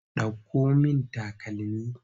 Ɗauko min takalmi!